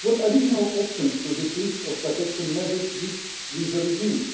What additional options to this list of protection measures give with the regime?